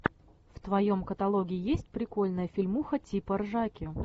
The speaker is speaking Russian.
в твоем каталоге есть прикольная фильмуха типа ржаки